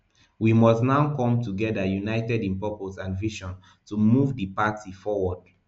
we must now come together united in purpose and vision to move di party forward